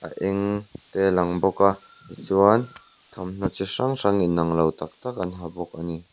eng te lang bawka tichuan thawmhnaw chi hrang hrang in anglo tak tak an ha bawk ani.